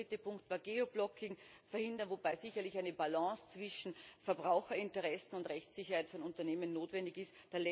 Der dritte Punkt Geoblocking verhindern, wobei sicherlich eine Balance zwischen Verbraucherinteressen und Rechtssicherheit von Unternehmen notwendig ist.